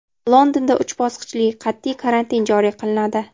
Londonda uch bosqichli qat’iy karantin joriy qilinadi.